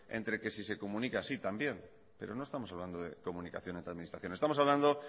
en que si se comunican sí también pero no estamos hablando de comunicaciones entre administraciones estamos hablando